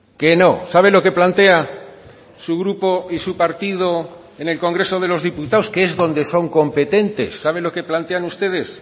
que no sabe lo que plantea su grupo y su partido en el congreso de los diputados que es donde son competentes sabe lo que plantean ustedes